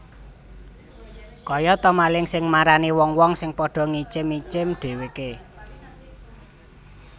Kaya ta maling sing marani wong wong sing padha ngincim incim dhèwèké